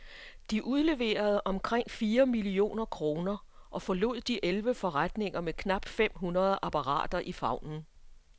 De udleverede omkring fire millioner kroner og forlod de elleve forretninger med knap fem hundrede apparater i favnen.